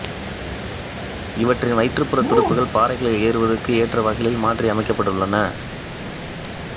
இவற்றின் வயிற்றுப்புற துடுப்புகள் பாறைகளில் ஏறுவதற்கு ஏற்ற வகைகளில் மாற்றி அமைக்கப்பட்டுள்ளன